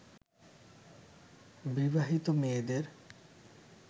বিবাহিত মেয়েদের